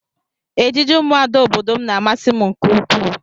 Ejiji ụmụada obodo m na-amasị m nke ukwuu